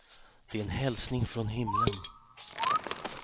Det är en hälsning från himlen.